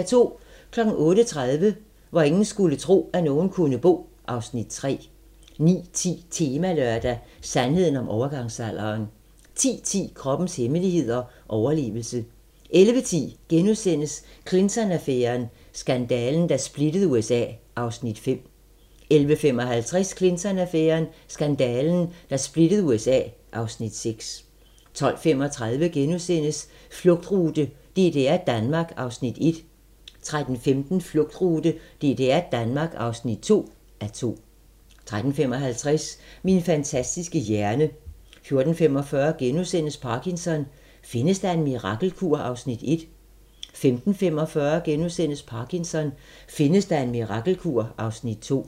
08:30: Hvor ingen skulle tro, at nogen kunne bo (Afs. 3) 09:10: Temalørdag: Sandheden om overgangsalderen 10:10: Kroppens hemmeligheder: Overlevelse 11:10: Clinton-affæren: Skandalen, der splittede USA (Afs. 5)* 11:55: Clinton-affæren: Skandalen, der splittede USA (Afs. 6) 12:35: Flugtrute: DDR-Danmark (1:2)* 13:15: Flugtrute: DDR-Danmark (2:2) 13:55: Min fantastiske hjerne 14:45: Parkinson: Findes der en mirakelkur? (Afs. 1)* 15:45: Parkinson: Findes der en mirakelkur? (Afs. 2)*